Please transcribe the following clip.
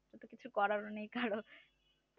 কিন্তু কিছু করার নেই কারণ